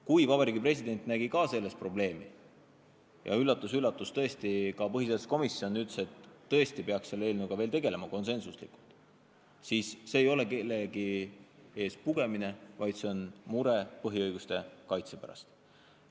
Kui ka Vabariigi President nägi selles probleemi – üllatus-üllatus, ka põhiseaduskomisjon konsensuslikult ütles, et tõesti peaks selle eelnõuga veel tegelema –, siis see ei ole kellegi ees pugemine, vaid see on mure põhiõiguste kaitse pärast.